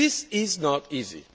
This is not